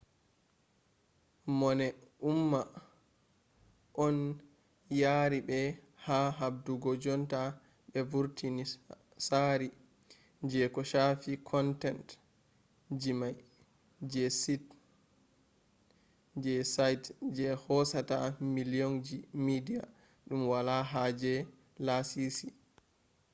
mone umma on yaari ɓe ha habdugo jonta ɓe vurtina tsaari je ko shaafi content jima'i je site je hoosata milyonji media ɗum wala haaje laasisi